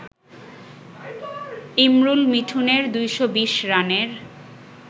ইমরুল-মিঠুনের ২২০ রানের